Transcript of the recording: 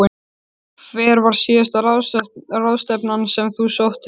Hver var síðasta ráðstefnan sem þú sóttir?